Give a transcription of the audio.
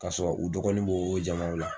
Ka sɔrɔ u dɔgɔni bo o jamanw la.